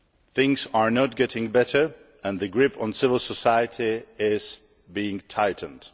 things are not getting better, and the grip on civil society is being tightened.